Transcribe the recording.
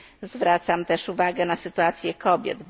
Zwracam także uwagę na sytuację kobiet.